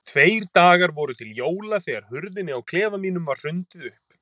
Tveir dagar voru til jóla þegar hurðinni á klefa mínum var hrundið upp.